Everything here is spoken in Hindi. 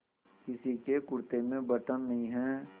किसी के कुरते में बटन नहीं है